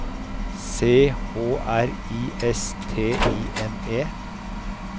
C H R I S T I N E